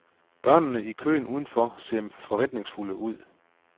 Børnene i køen udenfor ser forventningsfulde ud.